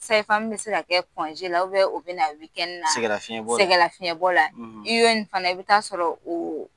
bɛ se ka kɛ o bina na sɛgɛlafiɲɛbɔ la, sɛgɛlafiɲɛbɔ la i fana i bi taa sɔrɔ o